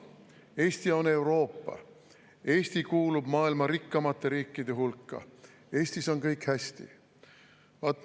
Eesti on Euroopa, Eesti kuulub maailma rikkamate riikide hulka, Eestis on kõik hästi.